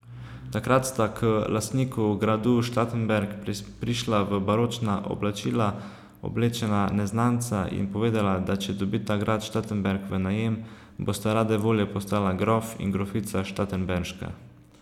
Takrat sta k lastniku gradu Štatenberg prišla v baročna oblačila oblečena neznanca in povedala, da če dobita grad Štatenberg v najem, bosta rade volje postala grof in grofica Štatenberška.